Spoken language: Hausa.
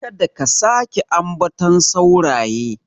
Kada ka sake ambaton sauraye.